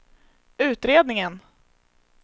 utredningen